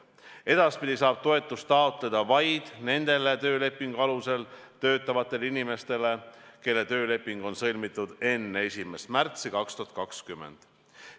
Edaspidi saab toetust taotleda vaid nendele töölepingu alusel töötavatele inimestele, kelle tööleping on sõlmitud enne 1. märtsi 2020.